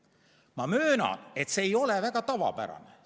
Ma möönan, et see ei ole väga tavapärane.